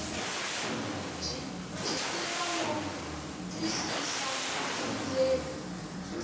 byi tiva no twisisa vundzeni